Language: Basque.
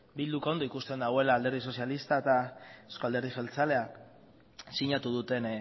bilduk ondo ikusten duela alderdi sozialista eta euzko alderdi jeltzalea sinatu duten